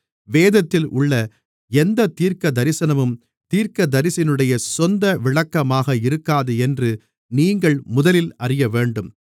வேதத்தில் உள்ள எந்தத் தீர்க்கதரிசனமும் தீர்க்கதரிசியினுடைய சொந்த விளக்கமாக இருக்காது என்று நீங்கள் முதலில் அறியவேண்டும்